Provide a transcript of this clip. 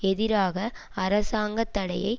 எதிராக அரசாங்க தடையை